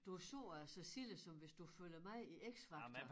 Du så at så silde som hvis du følger med i X Factor